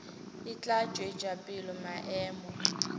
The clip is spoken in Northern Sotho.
e tla tšwetša pele maemo